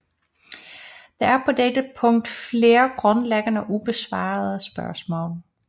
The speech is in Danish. Der er på dette punkt flere grundlæggende ubesvarede spørgsmål